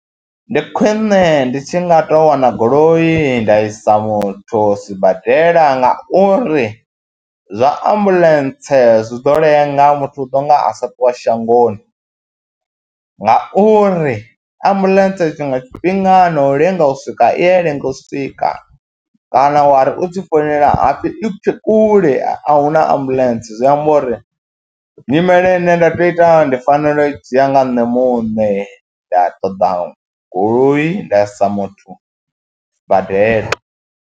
Ndi khwine ndi tshi nga tou wana goloi nda isa muthu sibadela ngauri zwa ambuḽentse zwi ḓo lenga muthu u ḓo nga a sa ṱuwa shangoni ngauri ambuḽentse tshiṅwe tshifhinga na u lenga u swika i ya lenga u swika kana wa ri u tshi founela ha pfhi i tshe kule a hu na ambuḽentse. Zwi amba uri nyimele ine nda tou ita ndi fanela u dzhia nga nṋe muṋe nda ṱoḓa goloi nda isa muthu sibadela.